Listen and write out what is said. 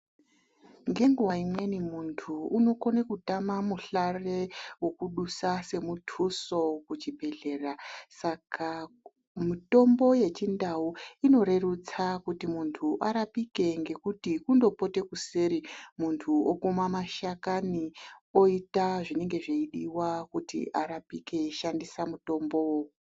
Ngenguwa imweni muntu unokone kutama muhlare wekudusa semuthuso kuchibhedhlera. Saka mitombo yechindau inorerutsa kuti munhu arapike ngekuti kundopote kuseri munhu okuma mashakani oita zveidiwa kuti arapike eishandise mutombo.